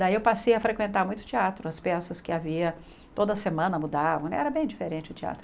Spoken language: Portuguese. Daí eu passei a frequentar muito o teatro, as peças que havia, toda semana mudavam né, era bem diferente o teatro.